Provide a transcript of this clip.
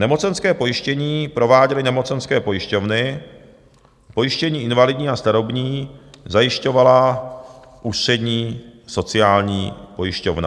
Nemocenské pojištění prováděly nemocenské pojišťovny, pojištění invalidní a starobní zajišťovala Ústřední sociální pojišťovna.